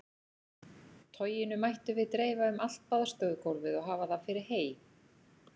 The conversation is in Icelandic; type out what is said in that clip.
Toginu mættum við dreifa um allt baðstofugólfið og hafa það fyrir hey.